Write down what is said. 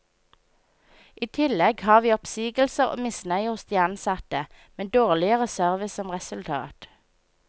I tillegg har vi oppsigelser og misnøye hos de ansatte, med dårligere service som resultat.